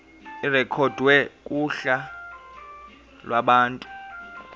irekhodwe kuhla lwabantu